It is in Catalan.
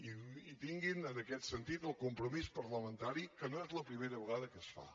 i tinguin en aquest sentit el compromís parlamentari que no és la primera vegada que es fa